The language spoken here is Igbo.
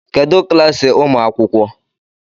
Kedụ klaasị ụmụ akwụkwọ?